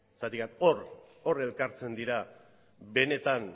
zergatik hor hor elkartzen dira benetan